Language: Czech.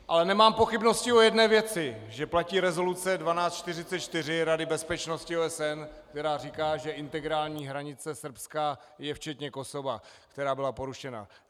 Ale nemám pochybnosti o jedné věci, že platí rezoluce 1244 Rady bezpečnosti OSN, která říká, že integrální hranice Srbska je včetně Kosova, která byla porušena.